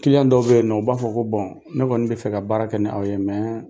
Kiliyan dɔw bɛ yen nɔ u b'a fɔ ko bɔn ne kɔni bɛ fɛ ka baara kɛ ni aw ye